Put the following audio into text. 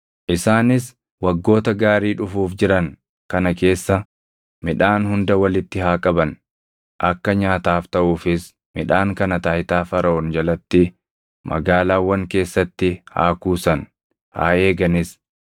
Isaanis waggoota gaarii dhufuuf jiran kana keessa midhaan hunda walitti haa qaban; akka nyaataaf taʼuufis midhaan kana taayitaa Faraʼoon jalatti magaalaawwan keessatti haa kuusan; haa eeganis.